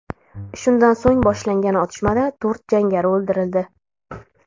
Shundan so‘ng boshlangan otishmada to‘rt jangari o‘ldirildi.